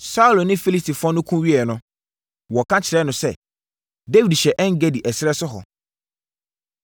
Saulo ne Filistifoɔ no ko wieeɛ no, wɔka kyerɛɛ no sɛ, “Dawid hyɛ En-Gedi ɛserɛ so hɔ.”